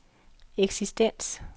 eksistens